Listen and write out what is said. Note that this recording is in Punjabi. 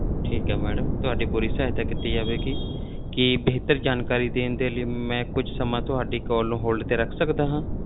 ਠੀਕ ਹੈ madam ਤੁਹਾਡੀ ਪੂਰੀ ਸਹਾਇਤਾ ਕੀਤੀ ਜਾਵੇਗੀ, ਕੀ ਬਿਹਤਰ ਜਾਣਕਾਰੀ ਦੇਣ ਦੇ ਲਈ ਮੈਂ ਕੁਛ ਸਮਾਂ ਤੁਹਾਡੀ call ਨੂੰ hold ਤੇ ਰੱਖ ਸਕਦਾ ਹਾਂ?